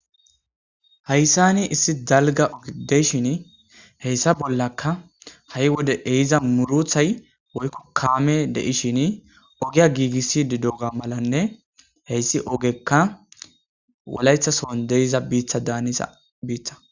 Heyssani issi dalga ogedeishin heyssa bollakka ha'i wode ehiza muruthay woykko kaame deishin ogiya giigissi didoga malanne heyssi ogekka walaythasoon deiza biitha daanisa biiththa.